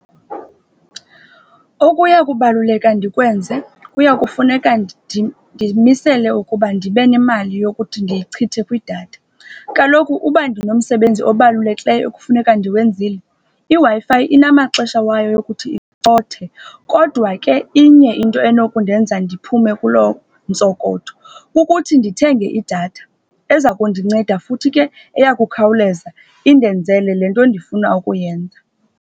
Okuya kubaluleka ndikwenze kuya kufuneka ndimisele ukuba ndibe nemali yokuthi ndiyichithe kwidatha. Kaloku ukuba ndinomsebenzi obalulekileyo ekufuneka ndiwenzile, iWi-Fi inamaxesha wayo yokuthi icothe. Kodwa ke inye into enokundenza ndiphume kuloo ntsokotho, kukuthi ndithenge idatha eza kundinceda, futhi ke eya kukhawuleza indenzele le nto ndifuna ukuyenza.